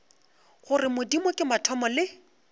gore modimo ke mathomo le